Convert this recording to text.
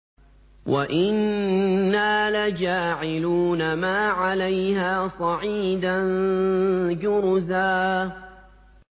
وَإِنَّا لَجَاعِلُونَ مَا عَلَيْهَا صَعِيدًا جُرُزًا